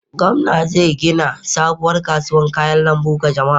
Gwamna zai gina sabuwar kasuwar kayan lambu ga jama'a.